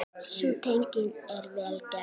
Sú tenging er vel gerð.